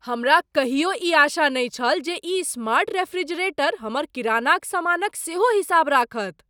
हमरा कहियो ई आशा नहि छल जे ई स्मार्ट रेफ्रिजरेटर हमर किरानाक सामानक सेहो हिसाब राखत।